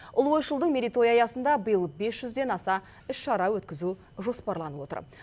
ұлы ойшылдың мерейтойы аясында биыл бес жүзден аса іс шара өткізу жоспарланып отыр